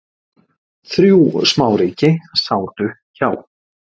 Þrjú smáríki sátu hjá